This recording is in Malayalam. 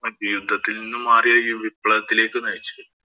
യുദ്ധത്തില്‍ നിന്നും മാറി ആ വിപ്ലവത്തിലേക്ക് നയിച്ചു.